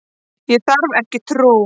Ég þarf ekki trú.